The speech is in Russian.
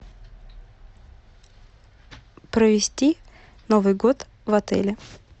провести новый год в отеле